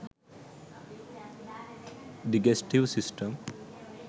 digestive system